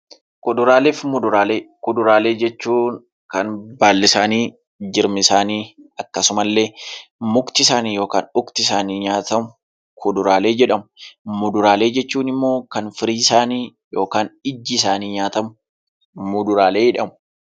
Kuduraalee fi muduraalee. Kuduraalee jechuun kan baalli isaanii, jirmi isaanii akkasumallee mukti isaanii nyaatamu kuduraalee jedhamu. Muduraalee jechuun immoo kan firiin isaanii yookiin immoo iji isaanii nyaatamu muduraaleedha.